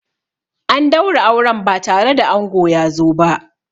An daura auren ba tare da ango ya zo ba.